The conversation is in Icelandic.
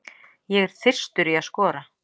Ég er þyrstur í að skora.